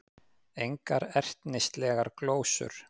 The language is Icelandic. Engar ertnislegar glósur.